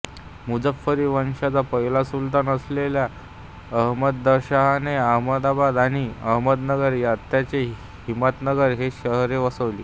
मुझफ्फरी वंशाचा पहिला सुलतान असलेल्या अहमदशाहने अहमदाबाद आणि अहमदनगर आताचे हिंमतनगर ही शहरे वसवली